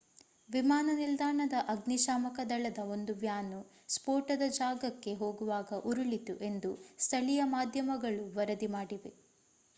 ವಿಮಾನ ನಿಲ್ದಾಣದ ಅಗ್ನಿ ಶಾಮಕ ದಳದ ಒಂದು ವ್ಯಾನು ಸ್ಫೋಟದ ಜಾಗಕ್ಕೆ ಹೋಗುವಾಗ ಉರುಳಿತು ಎಂದು ಸ್ಥಳೀಯ ಮಾಧ್ಯಮಗಳು ವರದಿ ಮಾಡಿವೆ